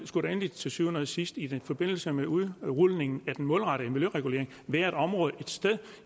skulle der endelig til syvende og sidst i forbindelse med udrulningen af den målrettede miljøregulering være et område et sted at